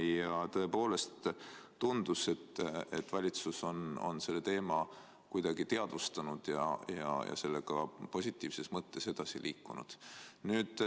Ja tõepoolest tundus, et valitsus on selle teema paremini teadvustanud ja sellega positiivses mõttes edasi liikunud.